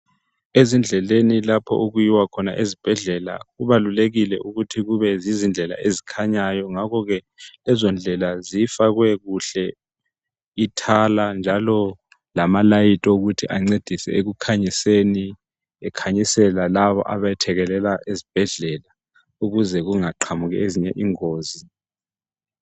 Ezindleleni lapho okuyiwa khona ezibhendlela kubalulekile ukuthi yizindlela ezikhanyayo ngakhoke lezo ndlela zifakwe kuhle ithala njalo lama light okuthi ancedise ekukhanyiseni ekhanyisela labo abathekelela ezibhendlela ukuze kungaqhamuki ezinye ingozi